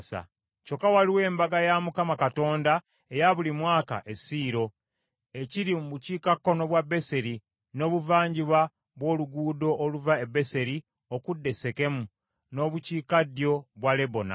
Kyokka waliwo embaga ya Mukama Katonda eya buli mwaka e Siiro, ekiri mu bukiikakkono bwa Beseri, n’obuvanjuba bw’oluguudo oluva e Beseri okudda e Sekemu, n’obukiikaddyo bwa Lebona.”